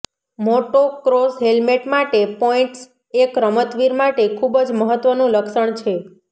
motocross helmet માટે points એક રમતવીર માટે ખૂબ જ મહત્વનું લક્ષણ છે